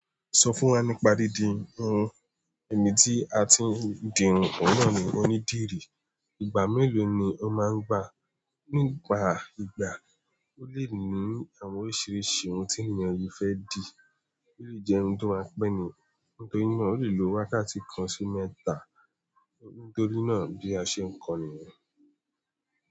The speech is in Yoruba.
Sọ fún wa nípa dìdi irun, ènj tí a ti ń dì irun ọ̀nà ni onídìrí ìgbà mélòó ni ó máa ń gbà? Nígbà ìgbà ó lè ní àwọn oríṣiríṣi ohun tí ènìyàn yóò fẹ́ dì, ó lè jẹ́ ohun tí wọ́n á pẹ́ ni, nítorí na ó lè lo wákàtí kan sí mẹ́ta nítorí náà bí a ṣe ń kọni.